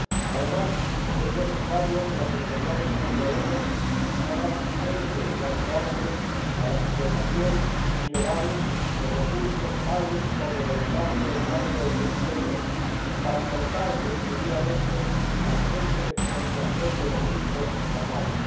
Además, es necesario que las autoridades congoleñas hagan frente cuanto antes a la explotación ilegal de recursos, tales como wolframio, estaño o tungsteno, para cortar definitivamente la fuente de financiación de los grupos armados.